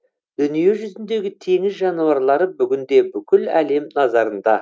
дүниежүзіндегі теңіз жануарлары бүгінде бүкіл әлем назарында